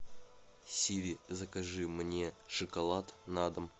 сири закажи мне шоколад на дом